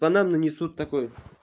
бананы несут такой